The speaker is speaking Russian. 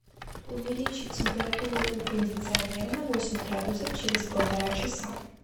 увеличить температуру у кондиционера на восемь градусов через полтора часа